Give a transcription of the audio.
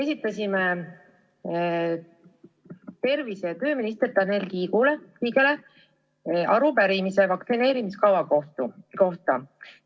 Esitasime tervise- ja tööminister Tanel Kiigele arupärimise vaktsineerimiskava kohta.